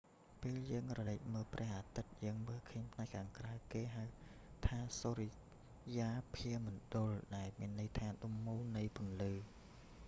ពេលយើងក្រឡេកមើលព្រះអាទិត្យ យើងមើលឃើញផ្នែកខាងក្រៅ គេហៅថាសុរិយាភាមណ្ឌល ដែលមានន័យថា ដុំមូលនៃពន្លឺ